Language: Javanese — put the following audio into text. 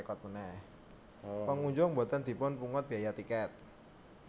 Pangunjung boten dipun pungut biyaya tiket